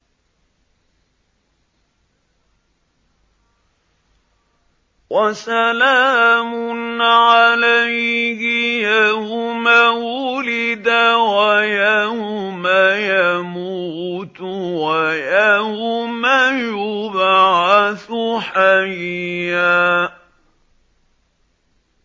وَسَلَامٌ عَلَيْهِ يَوْمَ وُلِدَ وَيَوْمَ يَمُوتُ وَيَوْمَ يُبْعَثُ حَيًّا